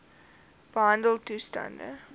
behandeltoestande